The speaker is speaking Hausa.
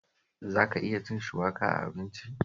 Za ka iya cin shuwaka a abinci?